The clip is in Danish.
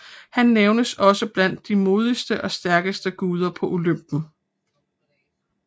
Han nævnes også blandt de modigste og stærkeste guder på Olympen